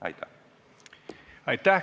Aitäh!